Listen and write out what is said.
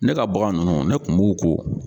Ne ka bagan ninnu ne tun b'u ko.